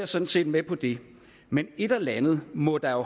sådan set med på det men et eller andet må der jo